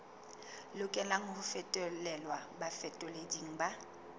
lokelang ho fetolelwa bafetoleding ba